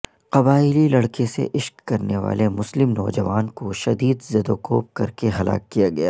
قبائیلی لڑکی سے عشق کرنے والے مسلم نوجوان کو شدید زدوکوب کرکے ہلاک کیا گیا